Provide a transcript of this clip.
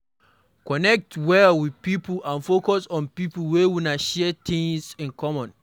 Connect well with pipo and focus on pipo wey una share things in common